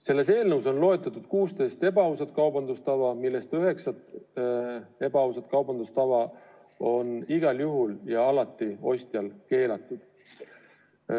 Selles eelnõus on loetletud 16 ebaausat kaubandustava, millest üheksa on igal juhul ja alati ostjal keelatud.